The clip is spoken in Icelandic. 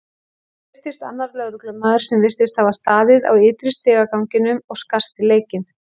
Þá birtist annar lögreglumaður sem virtist hafa staðið á ytri stigaganginum og skarst í leikinn.